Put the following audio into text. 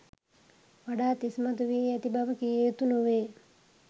වඩාත් ඉස්මතු වී ඇති බව කිව යුතු නොවේ.